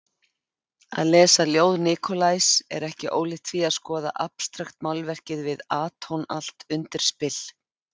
Að lesa ljóð Nikolajs er ekki ólíkt því að skoða abstraktmálverk við atónalt undirspil.